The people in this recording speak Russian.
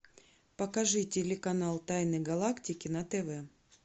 покажи телеканал тайны галактики на тв